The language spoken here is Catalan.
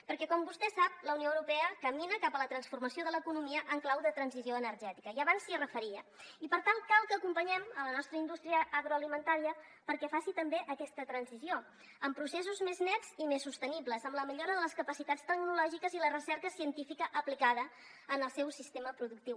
perquè com vostè sap la unió europea camina cap a la transformació de l’economia en clau de transició energètica i abans s’hi referia i per tant cal que acompanyem la nostra indústria agroalimentària perquè faci també aquesta transició amb processos més nets i més sostenibles amb la millora de les capacitats tecnològiques i la recerca científica aplicada en el seu sistema productiu